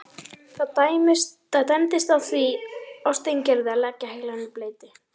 Það dæmdist því á Steingerði að leggja heilann í bleyti.